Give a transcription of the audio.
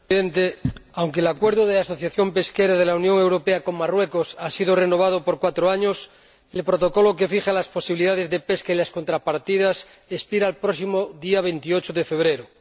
Señor Presidente, aunque el Acuerdo de asociación pesquera de la Unión Europea con Marruecos ha sido renovado por cuatro años, el Protocolo que fija las posibilidades de pesca y las contrapartidas expira el próximo día 28 de febrero.